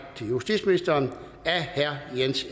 til justitsministeren af herre jan